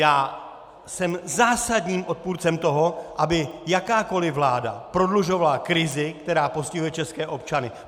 Já jsem zásadním odpůrcem toho, aby jakákoli vláda prodlužovala krizi, která postihuje české občany!